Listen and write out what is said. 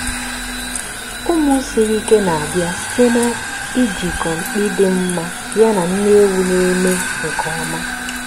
ụmụ siri ike na-abịa site na ijikọ mkpi dị mma yana nne ewu na-eme nke ọma.